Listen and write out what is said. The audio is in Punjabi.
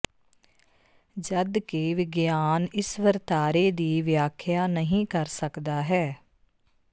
ਜਦਕਿ ਵਿਗਿਆਨ ਇਸ ਵਰਤਾਰੇ ਦੀ ਵਿਆਖਿਆ ਨਹੀ ਕਰ ਸਕਦਾ ਹੈ